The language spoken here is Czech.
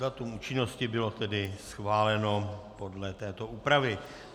Datum účinnosti bylo tedy schváleno podle této úpravy.